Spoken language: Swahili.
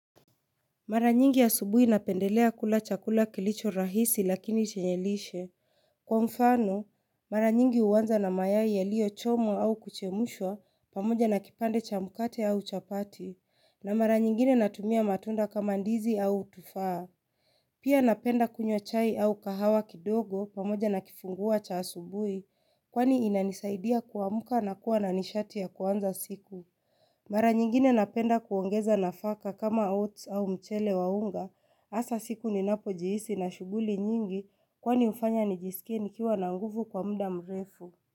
Mara nyingi asubuhi napendelea kula chakula kilicho rahisi lakini chenye lishe. Kwa mfano, mara nyingi huanza na mayai yalio chomwa au kuchemshwa pamoja na kipande cha mkate au chapati, na mara nyingine natumia matunda kama ndizi au tufaa. Pia napenda kunywa chai au kahawa kidogo pamoja na kifungua cha asubuhi kwani inanisaidia kuamka na kuwa na nishati ya kuanza siku. Mara nyingine napenda kuongeza nafaka kama oats au mchele wa unga, hasa siku ninapojihisi nina shughuli nyingi kwani hufanya nijisikie nikiwa na nguvu kwa muda mrefu.